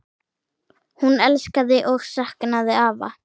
Hún elskaði og saknaði afa.